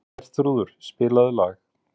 Herþrúður, spilaðu lag.